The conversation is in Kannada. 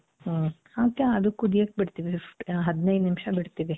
ಹ್ಮ್ಮ್ . ಅದು ಕುದಿಯಕ್ ಬಿಡ್ತಿವಿ ಹದಿನೈದು ನಿಮಿಷ ಬಿಡ್ತಿವಿ .